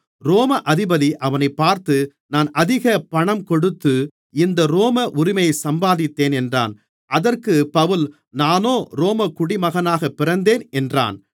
ரோம அதிபதி அவனைப் பார்த்து நான் அதிக பணம் கொடுத்து இந்த ரோம உரிமையை சம்பாதித்தேன் என்றான் அதற்குப் பவுல் நானோ ரோமக் குடிமகனாகப் பிறந்தேன் என்றான்